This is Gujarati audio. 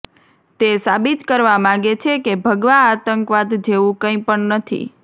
તે સાબિત કરવા માંગે છે કે ભગવા આતંકવાદ જેવું કંઈ પણ નથી